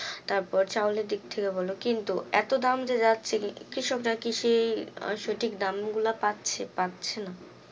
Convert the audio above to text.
তারপর চাউলের দিক থেকে বলো কিন্তু এত দাম দিয়ে যাচ্ছে, কৃষকরা কৃষি সঠিক দাম গুলো পাচ্ছে? পাচ্ছে না